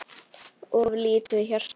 of lítið hjarta